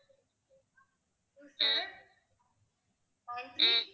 two seven